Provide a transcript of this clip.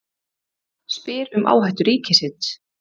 Spyr um áhættu ríkisins